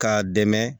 K'a dɛmɛ